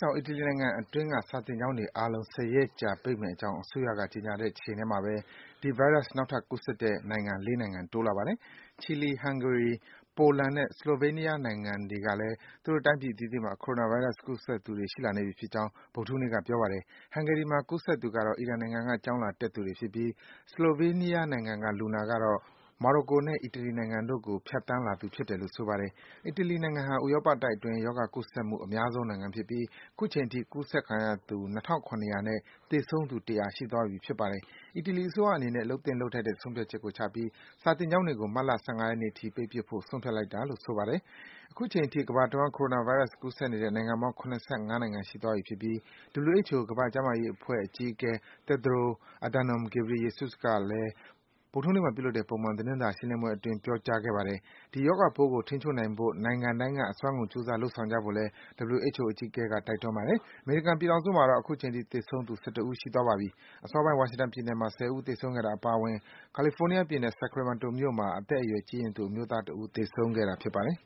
ကြောင့် အီတလီနိုင်ငံအတွင်းက စာသင်းကျောင်းတွေအားလုံး ၁၀ ရက်ကြာ ပိတ်မယ့်အကြောင် အစိုးရက ကြေညာတဲ့အချိန်မှာဘဲ ဒီ ဗိုင်းရပ်စ်ပိုး နောက်ထပ် ကူးစက်တဲ့ နိုင်ငံ ၄ နိုင်ငံ တိုးလာပါတယ်။ ချီလီ၊ ဟန်ဂေရီ၊ ပိုလန်နဲ့ ဆလိုဗေးနီးယားနိုင်ငံတွေကလည်း သူတို့တိုင်းပြည်အသီးသီးမှာ Coronavirus ကူးစက်သူတွေ ရှိလာနေပြီဖြစ်ကြောင်း ဗုဒ္ဓဟူးနေ့က ပြောပါတယ်။ ဟန်ဂေရီမှာ ကူးစက်သူတွေကတော့ အီရန်နိုင်ငံက ကျောင်းလာတက်သူတွေဖြစ်ပြီး ဆလိုဗေးနီးယားနိုင်ငံက လူနာကတော့ မော်ရိုကိုနဲ့ အီတလီနိုင်ငံတွေကို ဖြတ်သန်းလာသူ ဖြစ်တယ်လို့ ဆိုပါတယ်။ အီတလီနိုင်ငံဟာ ဥရောပတိုက်အတွင်း ရောဂါပိုးကူးစက်မှု အများဆုံးနိုင်ငံဖြစ်ပြီး အခုချိန်ထိ ကူးစက်ခံရသူ ၂,၇၀၀ နဲ့ သေဆုံးသူ ၁၀၀ ရှိသွားပြီ ဖြစ်ပါတယ်။ အီတလီအစိုးရအနေနဲ့ လုပ်သင့်လုပ်ထိုက်တဲ့ ဆုံးဖြတ်ချက်ကို ချပြီး စာသင်ကျောင်းတွေကို မတ်လ ၁၅ ရက်နေ့အထိ ပိတ်ပစ်ဖို့ ဆုံးဖြတ်လိုက်တာလို့ ဆိုပါတယ်။ အခုချိန်ထိ ကမ္ဘာတဝှမ်း Coronavirus ကူးစက်နေတဲ့ နိုင်ငံပေါင်း ၇၅ နိုင်ငံ ရှိသွားပြီလို့ WHO ကမ္ဘာ့ကျန်းမာရေးအဖွဲ့ အကြီးအကဲ Tedros Adhanom Ghebreyesus က ဗုဒ္ဓဟူးနေ့မှာ ပြုလုပ်တဲ့ ပုံမှန်သတင်းစာ ရှင်းလင်းပွဲအတွင်း ပြောကြားခဲ့ပါတယ်။ ဒီရောဂါပိုးကို ထိန်းချုပ်နိုင်ဖို့ နိုင်ငံတိုင်းက အစွမ်းကုန် ကြိုးစား လုပ်ဆောင်ကြဖို့လည်း WHO အကြီးအကဲက တိုက်တွန်းလိုက်ပါတယ်။ အမေရိကန်ပြည်ထောင်စု မှာတော့ အခုချိန်ထိ သေဆုံးသူ ၁၁ ဦး ရှိသွားပြီ ဖြစ်ပါတယ်။ အစောပိုင်းက ဝါရှင်တန်ပြည်နယ်မှာ ၁၀ ဦး သေဆုံးခဲ့တာ အပါအဝင် ကယ်လီဖိုးနီးယားပြည်နယ်၊ Sacramento မြို့မှာ အသက်အရွယ် ကြီးရင့်သူ အမျိုးသား တဦး သေဆုံးခဲ့တာ ဖြစ်ပါတယ်